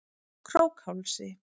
Krókhálsi